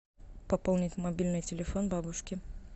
пополнить мобильный телефон бабушки